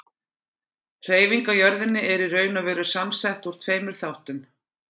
Hreyfing á jörðinni er í raun og veru samsett úr tveimur þáttum.